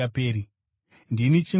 Ndini chingwa choupenyu.